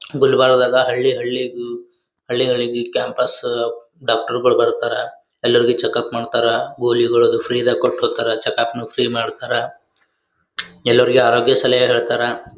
ಗುಲ್ಬರ್ಗದ ಹಳ್ಳಿ ಹಳ್ಳಿಗೂ ಈ ಹಳ್ಳಿಗಳಿಗು ಕ್ಯಾಂಪಸ್ ಡಾಕ್ಟರ್ ಗಳು ಬರ್ತಾರಾ ಎಲ್ಲೊರಿಗು ಚೆಕ್ಅಪ್ ಮಾಡ್ತಾರಾ ಗೋಲಿಗಳು ಫ್ರೀ ದಾಗ ಕೊಟ್ಟ ಹೊಗ್ತಾರ ಚೆಕ್ಅಪ್ ನು ಫ್ರೀ ಮಾಡ್ತಾರಾ ಎಲ್ಲರಿಗು ಅರೋಗ್ಯ ಸಲಹೆ ಕೊಡತಾರ .